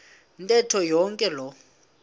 ntetho yonke loo